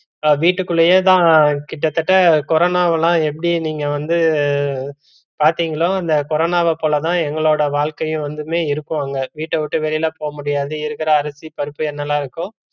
வீட்டுக்குள்ளேயேதா கிட்டத்தட்ட கொரோனாவலாம் எப்படி நீங்க வந்து பாத்தீங்களோ அந்த கொரோனாவ போல தா எங்களோட வாழ்க்கையும் வந்துமே இருக்கும் அங்க வீட்ட விட்டு வெளில போகமுடியாது இருக்கற அரிசி பருப்பு என்னல இருக்கோ